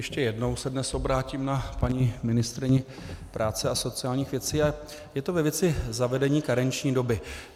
Ještě jednou se dnes obrátím na paní ministryni práce a sociálních věcí a je to ve věci zavedení karenční doby.